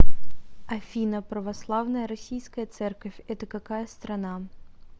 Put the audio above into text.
афина православная российская церковь это какая страна